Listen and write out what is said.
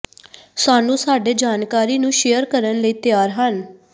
ਸਾਨੂੰ ਸਾਡੇ ਜਾਣਕਾਰੀ ਨੂੰ ਸ਼ੇਅਰ ਕਰਨ ਲਈ ਤਿਆਰ ਹਨ